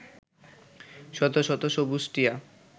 শত শত সবুজ টিয়া